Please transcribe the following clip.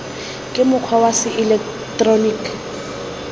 ka mokgwa wa se eleketeroniki